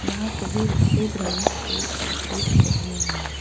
यहां सभी सफेद रंग के कपड़े पहने हुए हैं।